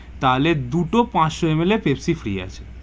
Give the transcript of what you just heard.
তাহলে দুটো পাঁচশো ML এর free আছে.